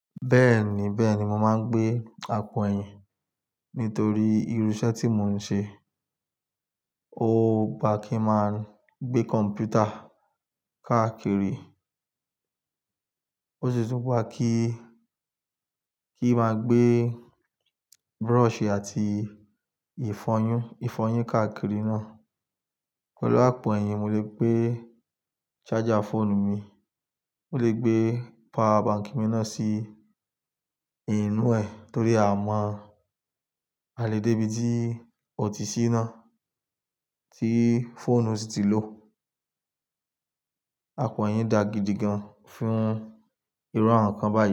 Bẹ́ẹ̀ni, bẹ́ẹ̀ni mo máa ń gbé àpò ẹ̀yìn nítorí irú iṣẹ́ tí mò ń ṣe. Ó gbà kí máa ń gbé kọ̀m̀pútà káàkiri, ó sì tún wà kí, kí máa gbé brush àti ìfọyín, ìfọyín káàkiri náà. Pẹ̀lú àpò ẹ̀yìn, mo lè gbé charger fóònù mi, mo lè gbé power bank mi náà sí inú ẹ̀ torí a máa lè dé ibi tí ọ̀tí sì ná, tí fóònù sì ti lóò Àpò ẹ̀yìn dà gidi gan fún irú àwọn nǹkan báyìí.